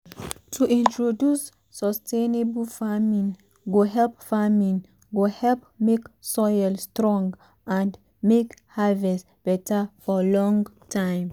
to introduce sustainable farming go help farming go help make soil strong and make harvest beta for long time.